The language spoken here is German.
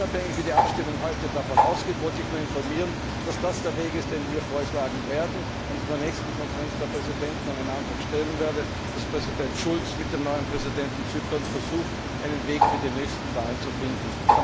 Unabhängig davon, wie die Abstimmung heute ausgeht, wollte ich Sie nur informieren, dass das der Weg ist, den wir vorschlagen werden, und dass ich in der Konferenz der Präsidenten einen Antrag stellen werde, dass Präsident Schulz mit dem neuen Präsidenten Zyperns versucht, einen Weg für die nächsten Wahlen zu finden.